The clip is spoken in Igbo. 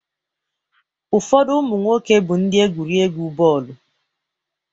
Ụfọdụ ụmụ nwoke bụ ndị egwurị egwu bọọlụ.